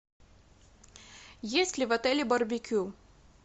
есть ли в отеле барбекю